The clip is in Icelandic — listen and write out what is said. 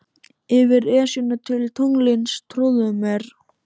Yfir Esjuna til tunglsins, trúðu mér.